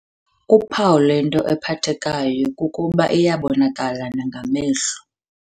Uphawu lwento ephathekayo kukuba iyabonakala nangamehlo.